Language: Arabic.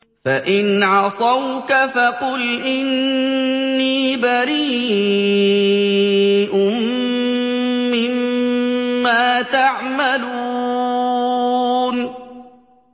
فَإِنْ عَصَوْكَ فَقُلْ إِنِّي بَرِيءٌ مِّمَّا تَعْمَلُونَ